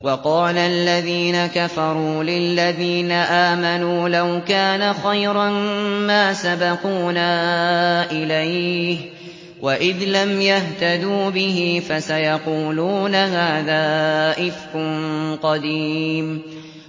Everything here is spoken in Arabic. وَقَالَ الَّذِينَ كَفَرُوا لِلَّذِينَ آمَنُوا لَوْ كَانَ خَيْرًا مَّا سَبَقُونَا إِلَيْهِ ۚ وَإِذْ لَمْ يَهْتَدُوا بِهِ فَسَيَقُولُونَ هَٰذَا إِفْكٌ قَدِيمٌ